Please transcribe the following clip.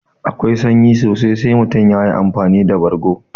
Akwai sanyi sosai sai mutum yayi amfani da bargo